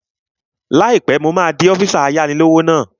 Láìpẹ́, mo máa di ọ́físà ayáni-lówó náà